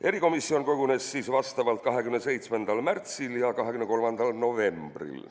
" Erikomisjon kogunes 27. märtsil ja 23. novembril.